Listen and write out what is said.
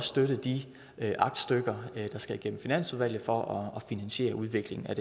støtte de aktstykker der skal igennem finansudvalget for at finansiere udviklingen af